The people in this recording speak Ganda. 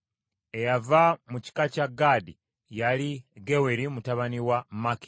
Eyava mu kika kya Gaadi yali Geweri mutabani wa Maki.